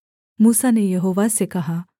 मूसा ने यहोवा से कहा